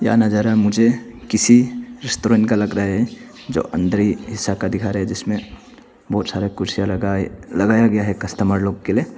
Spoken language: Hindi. यह नजारा मुझे किसी रेस्टोरेंट का लग रहा है जो अन्दर हिस्सा का दिखा रहा है जिसमें बहुत सारे कुर्सियां लगे लगाया गया है कस्टमर लोग के लिए।